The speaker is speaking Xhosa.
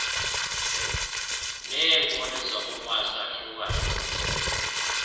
neenkuni zokubasa fuel